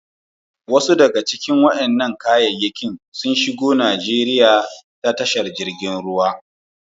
Wasu wa'inan kayakin sun shigo Nijeriya ta wurin tashar jirigin ruwa.